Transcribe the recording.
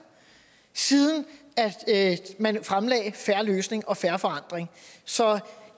siden man fremlagde en fair løsning og fair forandring så